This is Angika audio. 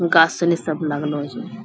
गाछ सिनी सब लागलो छै।